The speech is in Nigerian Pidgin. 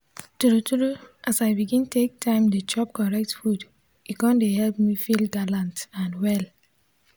true true as i begin take time dey chop correct food e come dey help me feel galant and well.